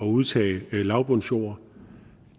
udtage lavbundsjord